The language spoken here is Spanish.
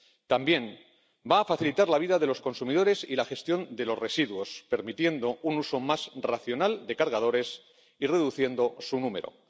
También va a facilitar la vida de los consumidores y la gestión de los residuos, permitiendo un uso más racional de los cargadores y reduciendo su número.